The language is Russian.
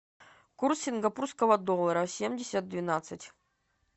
курс сингапурского доллара семьдесят двенадцать